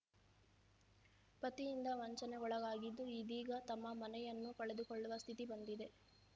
ಪತಿಯಿಂದ ವಂಚನೆಗೊಳಗಾಗಿದ್ದು ಇದೀಗ ತಮ್ಮ ಮನೆಯನ್ನೂ ಕಳೆದುಕೊಳ್ಳುವ ಸ್ಥಿತಿ ಬಂದಿದೆ